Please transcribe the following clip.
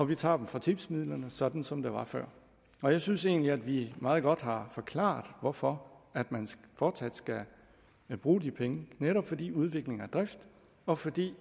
vi tager dem fra tipsmidlerne sådan som det var før jeg synes egentlig at vi meget godt har forklaret hvorfor man fortsat skal bruge de penge netop fordi udvikling er drift og fordi